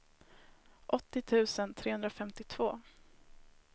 åttio tusen trehundrafemtiotvå